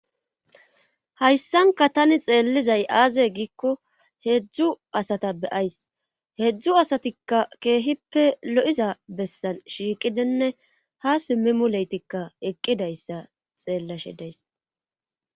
Hayssanka tani xeellizay aaze giikko heedzdzu asata beyays heedzdzu asatikka keehippe lo'iza bessan shiiqidenne ha simmimu leytikka eqqidayssa xeellashe deys.